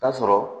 Ta sɔrɔ